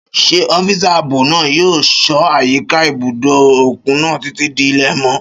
Ṣé ọ́físà ààbò náà yóò ṣọ́ àyíká ibùdó òkun náà títí di ilẹ̀ mọ́?